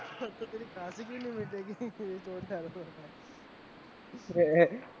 ઉસમેં તેરી ખાસી ભી નહીં મીતેગી એ જોરદાર છે રે